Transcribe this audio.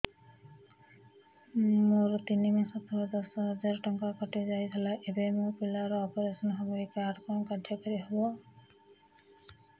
ମୋର ତିନି ମାସ ତଳେ ଦଶ ହଜାର ଟଙ୍କା କଟି ଯାଇଥିଲା ଏବେ ମୋ ପିଲା ର ଅପେରସନ ହବ ଏ କାର୍ଡ କଣ କାର୍ଯ୍ୟ କାରି ହବ